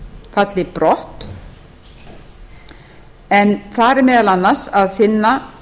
falli brott en þar er meðal annars að finna